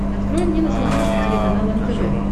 открой мне на смотрешке телеканал нтв